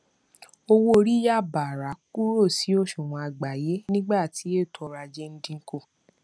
owó orí yà bààrà kúrò sí òṣùwọn àgbáyé nígbà tí ètò ọrọajé ń dínkù